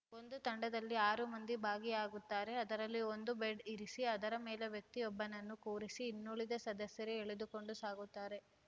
ಒಂದು ತಂಡದಲ್ಲಿ ಆರು ಮಂದಿ ಭಾಗಿಯಾಗುತ್ತಾರೆ ಅದರಲ್ಲಿ ಒಂದು ಬೆಡ್ ಇರಿಸಿ ಅದರ ಮೇಲೆ ವ್ಯಕ್ತಿಯೊಬ್ಬನನ್ನು ಕೂರಿಸಿ ಇನ್ನುಳಿದ ಸದಸ್ಯರು ಎಳೆದುಕೊಂಡು ಸಾಗುತ್ತಾರೆ